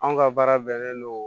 Anw ka baara bɛnnen don